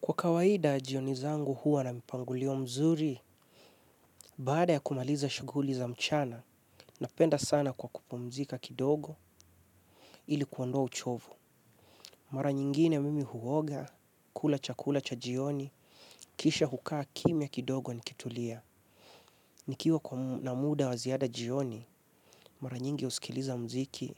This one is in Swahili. Kwa kawaida, jioni zangu huwa na mpangulio mzuri, baada ya kumaliza shuguli za mchana, napenda sana kwa kupomzika kidogo ili kuondoa uchovu. Mara nyingine mimi huoga, kula cha kula cha jioni, kisha hukaa kimia kidogo ni kitulia. Nikiwa na muda waziada jioni, mara nyingi usikiliza mziki,